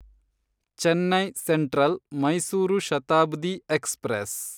Chennai Central Mysuru Shatabdi express